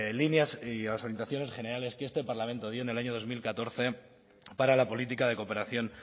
líneas y las orientaciones generales que este parlamento dio en el año dos mil catorce para la política de cooperación